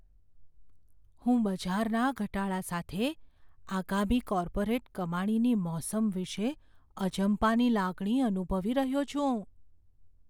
હું બજારના ઘટાડા સાથે આગામી કોર્પોરેટ કમાણીની મોસમ વિશે અજંપાની લાગણી અનુભવી રહ્યો છું.